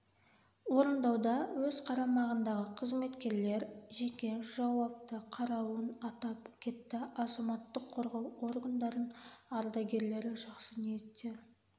орындауда өз қарамағындағы қызметкерлер жеке жауапты қарауын атап кетті азаматтық қорғау органдардың ардагерлері жақсы ниеттер